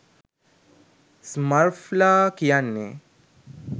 ස්මර්ෆ්ලා කියන්නේ